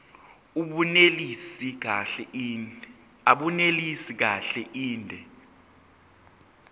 abunelisi kahle inde